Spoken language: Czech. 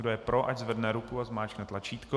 Kdo je pro, ať zvedne ruku a zmáčkne tlačítko.